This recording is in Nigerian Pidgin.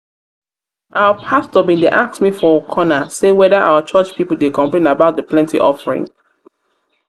our pastor bin dey ask me ask me for corner say whether our church people dey complain about the plenty offering